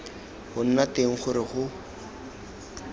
go nna teng gore go